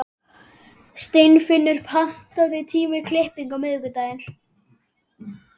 Steinfinnur, pantaðu tíma í klippingu á miðvikudaginn.